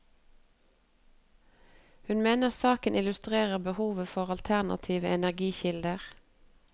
Hun mener saken illustrerer behovet for alternative energikilder.